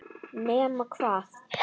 Nema hvað?